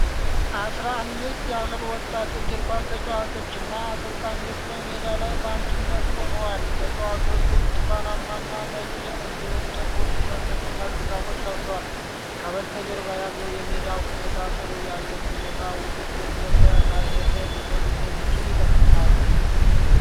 አሥራ አምስት ያህል ወጣት እግር ኳስ ተጫዋቾችና አሰልጣኞች በሜዳ ላይ በአንድነት ቆመዋል። ተጫዋቾቹ ብርቱካናማና ነጭ፣ እንዲሁም ጥቁር ቲሸርቶችና ሹራቦች ለብሰዋል፡፡ ከበስተጀርባ ያለው የሜዳው ሁኔታና ጥሩ የአየር ሁኔታ ውድድሩ የት ተካሂዶ ሊሆን እንደሚችል ይጠቁማል?